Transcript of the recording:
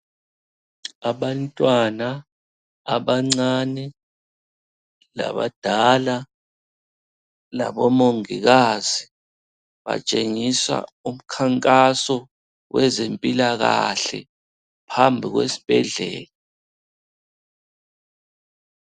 Abantwana abancane labadala laboMongikazi betshengisa umkhankaso wezempilakahle phambi kwesibhedlela.